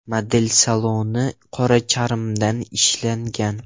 Model saloni qora charmdan ishlangan.